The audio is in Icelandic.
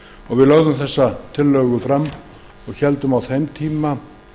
varðaði við lögðum þá tillögu fram og héldum á þeim tíma